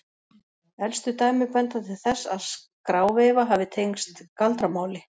elstu dæmi benda til þess að skráveifa hafi tengst galdramáli